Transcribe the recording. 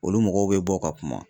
Olu mɔgɔw be bɔ ka kuma